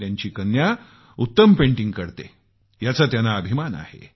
त्यांची कन्या उत्तम पेंटिंग करते याचा त्यांना अभिमान आहे